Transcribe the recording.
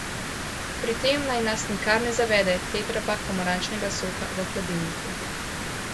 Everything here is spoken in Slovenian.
Pri tem naj nas nikar ne zavede tetrapak pomarančnega soka v hladilniku.